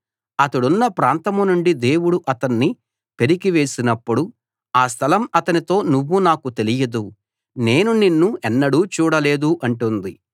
అతడున్న ప్రాంతం నుండి దేవుడు అతణ్ణి పెరికివేసినప్పుడు ఆ స్థలం అతనితో నువ్వు నాకు తెలియదు నేను నిన్ను ఎన్నడూ చూడలేదు అంటుంది